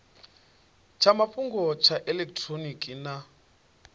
tsha mafhungo tsha elekitironiki na